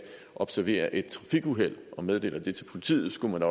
observerer et trafikuheld og meddeler det til politiet skulle